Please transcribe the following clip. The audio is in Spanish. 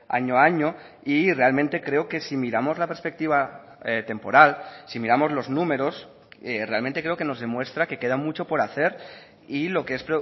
año a año y realmente creo que si miramos la perspectiva temporal si miramos los números realmente creo que nos demuestra que queda mucho por hacer y lo que es